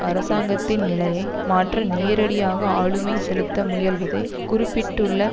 அரசாங்கத்தின் நிலையை மாற்ற நேரடியாக ஆளுமை செலுத்த முயல்வதை குறிப்பிட்டுள்ள